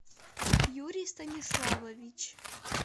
юрий станиславович